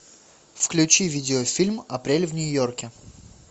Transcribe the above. включи видеофильм апрель в нью йорке